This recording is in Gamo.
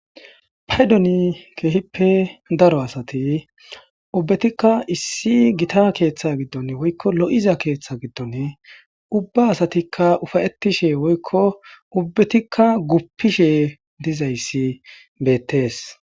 paydoni keehippe daro asati ubbetikka issi gita keeththa giddon woykko lo7iza keeththa giddon ubba asatikka ufayettishe woykko ubbetikka guppishe dizayssi beettees